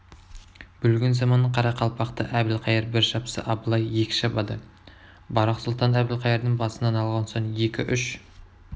бүлгін заман қарақалпақты әбілқайыр бір шапса абылай екі шабады барақ сұлтан әбілқайырдың басын алған соң екі-үш